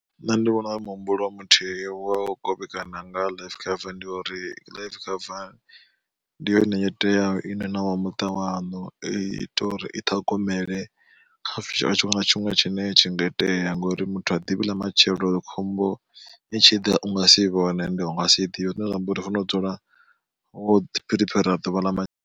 Nṋe ndi vhona uri muhumbulo muthihi wa u kovhekana nga life cover ndi ya uri life cover ndi yone yo teaho ine na wa muṱa waṋu i ita uri i ṱhogomele kha tshiṅwe na tshiṅwe tshine tshi nga itea. Ngori muthu ha ḓivhi ḽa matshelo khombo i tshi ḓa u nga si i vhone ende unga si i ḓivhe zwine zwa amba uri u fanela u dzula wo ḓi phuriphera ḓuvha ḽa ma.